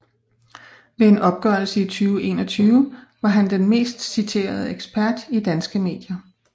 Ved en opgørelse i 2021 var han den mest citerede ekspert i danske medier